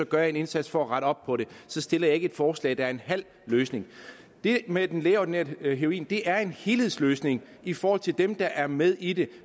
gør jeg en indsats for at rette op på det så stiller jeg ikke et forslag der er en halv løsning det med den lægeordineret heroin er en helhedsløsning i forhold til dem der er med i det